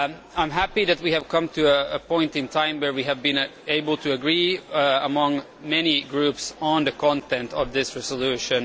I am happy that we have come to a point in time where we have been able to agree among many groups on the content of this resolution.